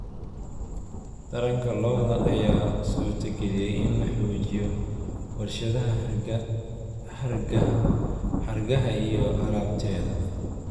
Taranka lo'da lo'da ayaa suurtageliyay in la xoojiyo warshadaha hargaha iyo alaabteeda.